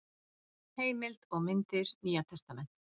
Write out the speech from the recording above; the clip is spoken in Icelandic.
Heimild og myndir: Nýja testamentið.